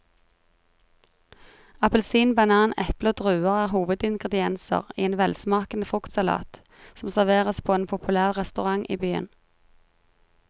Appelsin, banan, eple og druer er hovedingredienser i en velsmakende fruktsalat som serveres på en populær restaurant i byen.